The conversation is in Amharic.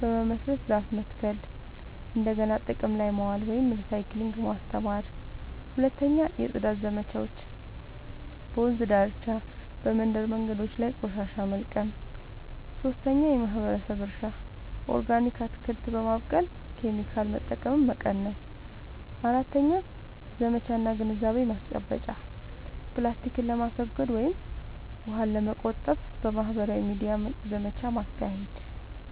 በመመስረት ዛፍ መትከል፣ እንደገና ጥቅም ላይ ማዋል (recycling) ማስተማር። 2. የጽዳት ዘመቻዎች – በወንዝ ዳርቻ፣ በመንደር መንገዶች ላይ ቆሻሻ መልቀም። 3. የማህበረሰብ እርሻ – ኦርጋኒክ አትክልት በማብቀል ኬሚካል መጠቀምን መቀነስ። 4. ዘመቻ እና ግንዛቤ ማስጨበጫ – ፕላስቲክን ለማስወገድ ወይም ውሃን ለመቆጠብ በማህበራዊ ሚዲያ ዘመቻ ማካሄድ።